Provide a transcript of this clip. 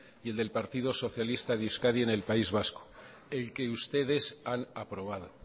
y el del partido socialista de euskadi en el país vasco el que ustedes han aprobado